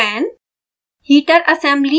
display fan